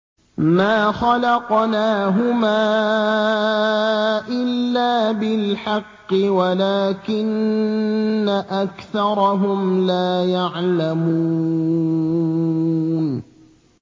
مَا خَلَقْنَاهُمَا إِلَّا بِالْحَقِّ وَلَٰكِنَّ أَكْثَرَهُمْ لَا يَعْلَمُونَ